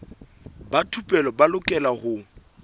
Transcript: ba thupelo ba lokela ho